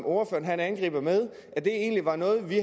ordføreren angriber med egentlig er noget vi